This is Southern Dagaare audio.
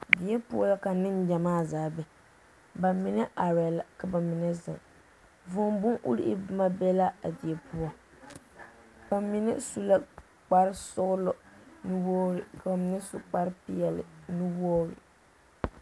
Die poɔ la ka neŋgyɛmaa zaa be , bamine arɛɛ la ka bamine zeŋ vūū bon-urii boma be la a die poɔ bamine su la kpare sɔgelɔ nu-wogiri ka bamine su kpare peɛle nu-wogiri.